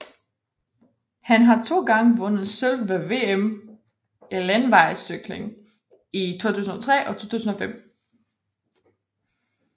Han har to gange vundet sølv ved VM i landevejscykling i 2003 og 2005